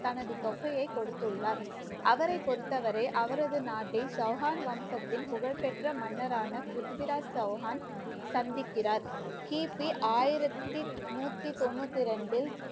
தனது தொகையை கொடுத்துள்ளார். அவரை பொறுத்தவரை அவரது நாட்டை சௌகான் வம்சத்தின் புகழ்பெற்ற மன்னரான பிருத்திவிராஜ் சௌகான் சந்திக்கிறார் கிபி ஆயிரத்தி நூத்தி தொண்ணூத்தி ரெண்டில்